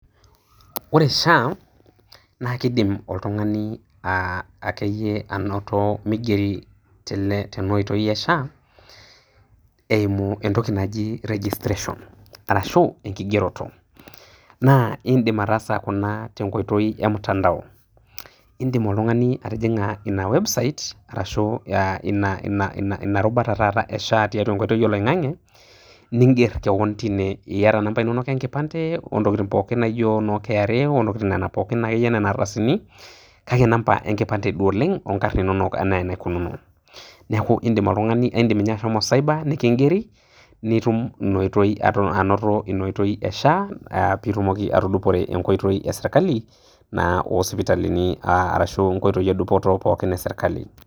Ore Sha naa kidim oltungani aa akeyie anoto migeri tena oitoi e Sha, eimu entoki naji registration arashu enkigeroto .naa idim ataasa Kuna tenkoitoi e mutandao, idim oltungani atijing'a ina website arashu Ina rubata e Sha tenkoitoi oloingang'e, niger kewon tine, iyata nambai pookin oloingang'e ontokitin naijo noo KRA, ontokitin akeyie Nena ardasini. kake namba enkipande duo oleng, onkarn inonok enaikununo. neeku, idim oltungani, idim ninye ashomo cyber nikigeri, nitum ashomo, anoto Ina oitoi be sha. pee itumoki atudupore Ina oitoi esirkali, naa osipitalini, onkoitoi edupoto, pookin esirkali.